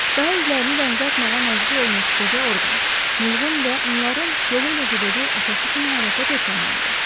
Daha özlərini dənizə atmağa məcbur olmuş qoca Orqan, Mulğun və onların yolu ilə gedəcək atası kimi hərəkət etməməlidir.